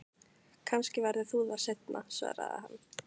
Kannski verður hún það seinna, svaraði hann.